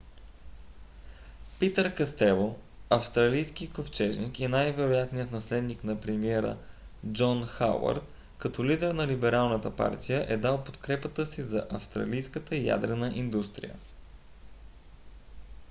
питър кастело австралийски ковчежник и най-вероятният наследник на премиера джон хауърд като лидер на либералната партия е дал подкрепата си за австралийската ядрена индустрия